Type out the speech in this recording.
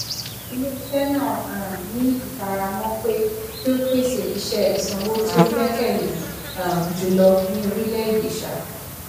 iléiṣẹ náà um ní ifaramọ pé kí o pèsè iṣẹ ìsanwó tí o gbẹkẹle um jùlọ ní orílẹ èdè um